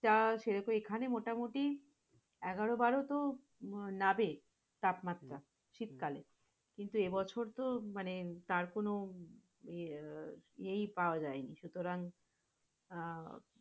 টা সেটাতো এখানে মোটামুটি এগারো-বারোতো নাবেই তাপমাত্রা শীতকালে। কিন্তু এ বছরতো মানে তারকোন ইয়ে পাওয়া যায়নি সুতারং আহ